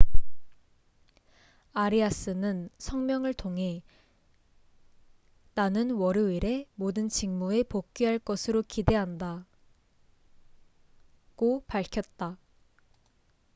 "아리아스arias는 성명을 통해 "나는 월요일에 모든 직무에 복귀할 것으로 기대한다""고 밝혔다.